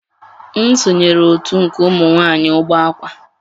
M sonyeere otu nke ụmụ nwanyị Ugbakwa